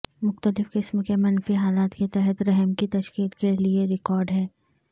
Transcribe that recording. مختلف قسم کے منفی حالات کے تحت رحم کی تشکیل کے لئے ریکارڈ ہے